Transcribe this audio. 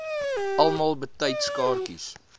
almal betyds kaartjies